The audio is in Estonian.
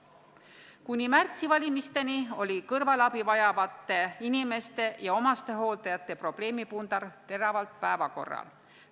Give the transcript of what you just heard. Kuni märtsikuiste valimisteni oli kõrvalabi vajavate inimeste ja omastehooldajate probleemi pundar teravalt päevakorral.